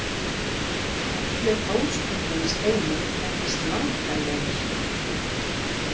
Hvellur háðstónninn í Steini þekktist langar leiðir.